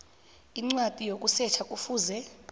incwadi yokusetjha kufuze